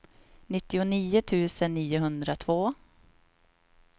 nittionio tusen niohundratvå